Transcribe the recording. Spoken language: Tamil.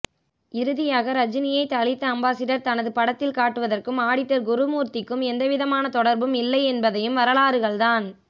இறுதியாக ரஜினியை தலித் அம்பாசிடர் தனது படத்தில் காட்டுவதற்கும் ஆடிட்டர் குருமூர்த்திக்கும் எவ்விதமான தொடர்பும் இல்லை என்பதையும் வரலாறுகள்தான்